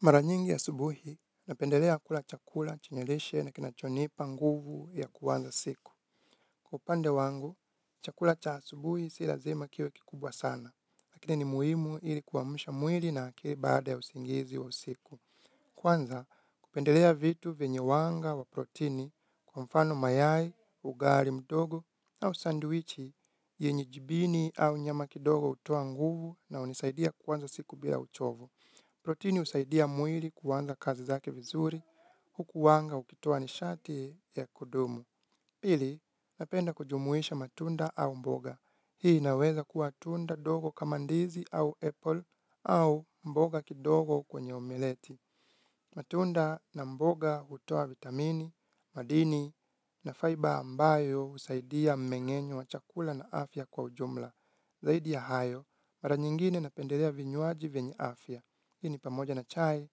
Mara nyingi ya asubuhi, napendelea kula chakula chenye lishe na kinachonipa nguvu ya kuanza siku. Kwa upande wangu, chakula cha asubuhi si lazama kiwe kikubwa sana, lakini ni muhimu ili kuamsha mwili na akili baada ya usingizi wa usiku. Kwanza, kupendelea vitu venye wanga wa protini kwa mfano mayai, ugali mdogo au sandwichi yenye jibini au nyama kidogo hutoa nguvu na hunisaidia kuanza siku bila uchovu. Proteini husaidia mwili kuanza kazi zake vizuri, huku wanga ukitoa nishati ya kudumu. Pili, napenda kujumuisha matunda au mboga. Hii inaweza kuwa tunda dogo kama ndizi au apple au mboga kidogo kwenye omeleti. Matunda na mboga hutoa vitamini, madini na fiber ambayo husaidia mmengenyo wa chakula na afya kwa ujumla. Zaidi ya hayo, mara nyingine napendelea vinywaji vienye afya. Hii ni pamoja na chai,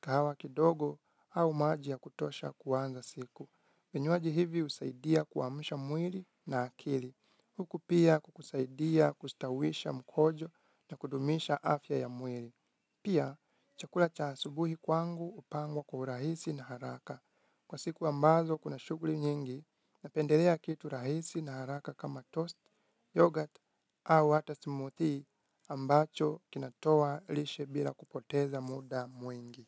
kahawa kidogo, au maji ya kutosha kuanza siku. Vinywaji hivi husaidia kuamusha mwili na akili. Huku pia kukusaidia kustawisha mkojo na kudumisha afya ya mwili. Pia, chakula cha asubuhi kwangu hupangwa kwa urahisi na haraka. Kwa siku ambazo kuna shuguli nyingi, napendelea kitu rahisi na haraka kama toast, yoghurt, au hata smoothie ambacho kinatoa lishe bila kupoteza muda mwingi.